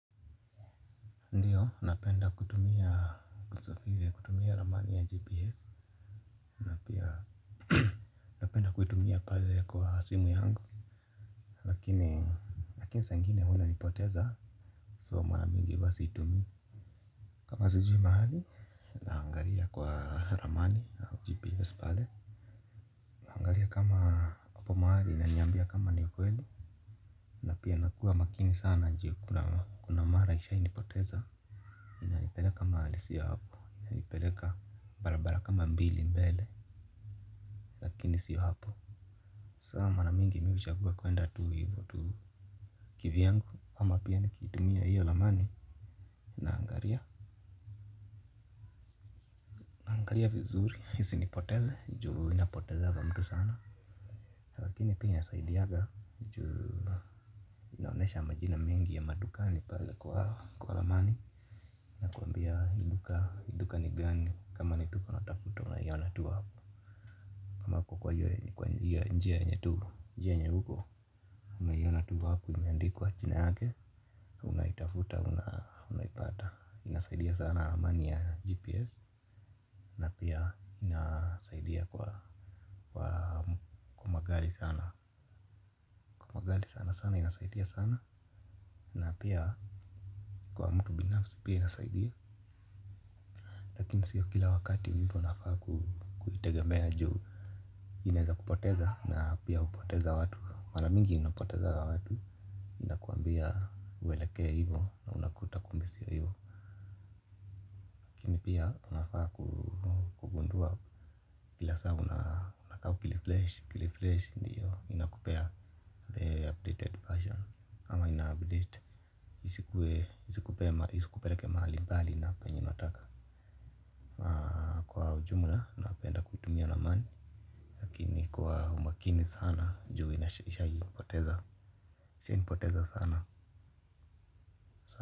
Ndiyo napenda kutumia kutumia ramani ya gps na pia napenda kutumia pale kwa simu yangu lakini lakini sa ingine huna nipoteza so mwana mingi wa siitumi kama sijui mahali angalia kwa ramani au gps pale angalia kama hapo mahali inaniambia kama ni ukweli napia nakua makini sana njia kuna mara ishai nipoteza inalipeleka mahalisi ya hapo inalipeleka barabara kama mbili mbele. Kini sio hapo. Sama na mingi miuja kuwa kuenda tuu hivu tu Kiviyangu ama pia nikitumia hiyo ramani naangalia vizuri isinipoteze ju inapotezanga watu sana. Lakini pia inasaidiaga juu inaonesha majina mingi ya madukani pale kwa hawa kwa lamani. Na kuambia hinduka hinduka nigani kama nid uka natafuta unayona tuu hapo. Kama kwa kwa hiyo njia nye tuu njia nye huko. Unayona tuu hapo imiandikwa chine hake. Unaitafuta, unaipata. Inasaidia sana raman ya GPS. Na pia inasaidia kwa magali sana. Magali sana sana, inasaidia sana. Napia kwa mtu binafsi pia inasaidia lakini siyo kila wakati mtu anafaa kuhitegemea juu ineza kupoteza na pia kupoteza watu. Mara mingi inapoteza watu ina kwambia uwelekea hivo Refresh indi liteto. Mbali na umakini sana juu inashayi kupoteza ishai nipoteza sana.